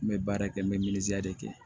N bɛ baara kɛ n bɛ de kɛ